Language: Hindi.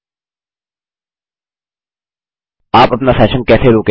आप अपना सेशन कैसे रोकेंगे